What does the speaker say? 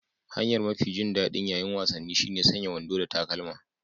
Hanyar mafi jin daɗi ƴaƴin wasanni shine sanya wando da takalma.